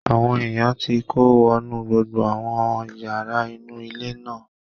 Àwọn èèyàn ti kó wọnú gbogbo àwọn yàrá inú ilé náà